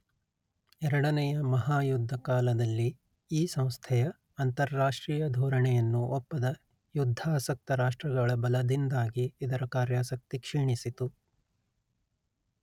ಎರಡನೆಯ ಮಹಾಯುದ್ಧ ಕಾಲದಲ್ಲಿ ಈ ಸಂಸ್ಥೆಯ ಅಂತಾರಾಷ್ಟ್ರೀಯ ಧೋರಣೆಯನ್ನು ಒಪ್ಪದ ಯುದ್ಧಾಸಕ್ತ ರಾಷ್ಟ್ರಗಳ ಬಲದಿಂದಾಗಿ ಇದರ ಕಾರ್ಯಾಸಕ್ತಿ ಕ್ಷೀಣಿಸಿತು